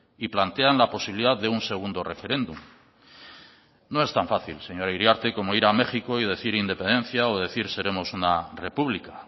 y plantean la posibilidad de un segundo referéndum no es tan fácil señora iriarte como ir a méxico y decir independencia o decir seremos una república